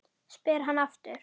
spyr hann aftur.